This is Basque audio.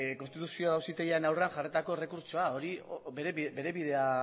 konstituzio auzitegiaren aurrean jarritako errekurtsoa hori bere bidea